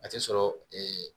A tɛ sɔrɔ ee